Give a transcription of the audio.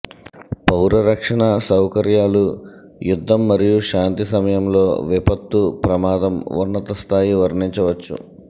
పౌర రక్షణ సౌకర్యాలు యుద్ధం మరియు శాంతి సమయంలో విపత్తు ప్రమాదం ఉన్నత స్థాయి వర్ణించవచ్చు